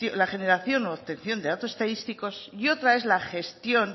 la generación u obtención de datos estadísticos y otra es la gestión